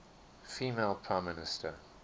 female prime minister